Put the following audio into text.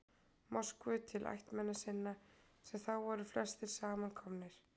Moskvu til ættmenna sinna, sem þá voru þar flestir saman komnir.